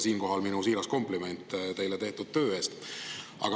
Siinkohal minu siiras kompliment teile tehtud töö eest.